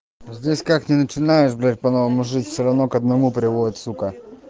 здесь как не начинаешь блять по новому жить все равно к одному приводит сука